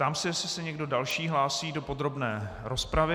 Ptám se, jestli se někdo další hlásí do podrobné rozpravy.